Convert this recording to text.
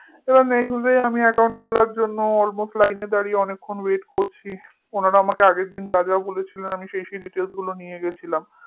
এবার next dayaccount খোলার জন্য almostline এ দাঁড়িয়ে অনেকক্ষণ wait করছি উনারা আমাকে আগের দিন যা যা বলেছিল আমি সেই সেই details গুলো নিয়ে গেছিলাম